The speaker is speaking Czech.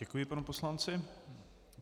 Děkuji panu poslanci.